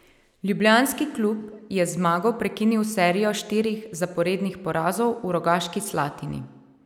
Ljubljanski klub je z zmago prekinil serijo štirih zaporednih porazov v Rogaški Slatini.